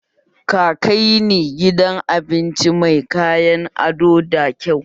Ka kai ni gidan abinci mai kayan ado da kyau!